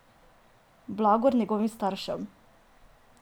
Blagor njegovim staršem!